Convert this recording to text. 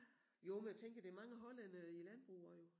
Jo men jeg tænker der mange hollændere i æ landbrug også jo